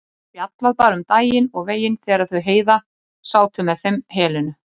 Spjallað bara um daginn og veginn þegar þau Heiða sátu með þeim Helenu.